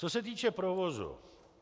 Co se týče provozu.